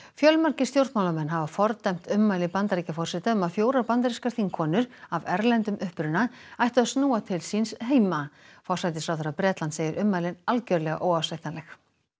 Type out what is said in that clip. fjölmargir stjórnmálamenn hafa fordæmt ummæli Bandaríkjaforseta um að fjórar bandarískar þingkonur af erlendum uppruna ættu að snúa til síns heima forsætisráðherra Bretlands segir ummælin algjörlega óásættanleg